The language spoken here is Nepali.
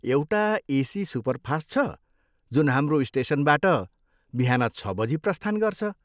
एउटा एसी सुपरफास्ट छ जुन हाम्रो स्टेसनबाट बिहान छ बजी प्रस्थान गर्छ।